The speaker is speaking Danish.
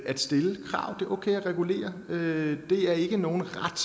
at stille krav det er okay at regulere det er ikke nogen ret